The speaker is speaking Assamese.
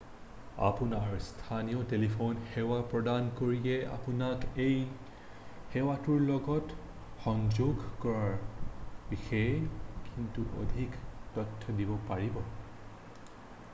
আপোনাৰ স্থানীয় টেলিফোন সেৱা প্ৰদানকাৰীয়ে আপোনাক এই সেৱাটোৰ লগত সংযোগ কৰাৰ বিষয়ে কিছু অধিক তথ্য দিব পাৰিব